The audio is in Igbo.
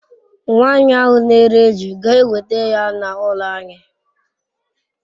Nwanyi ahu n'ere eju ga eweta ya n'ulo anyi